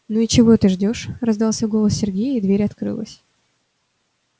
ну и чего ты ждёшь раздался голос сергея и дверь открылась